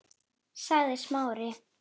sagði Smári.